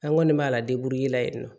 An ŋɔni m'a la